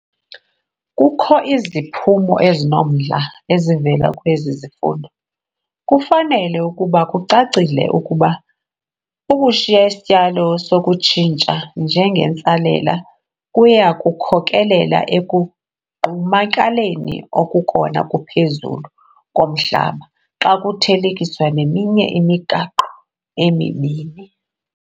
Kukho iziphumo ezinomdla ezivela kwezi zifundo. Kufanele ukuba kucacile ukuba ukushiya isityalo sokutshintsha njengentsalela kuya kukhokelela ekugqumakaleni okukona kuphezulu komhlaba, xa kuthelekiswa neminye imigaqo emibini.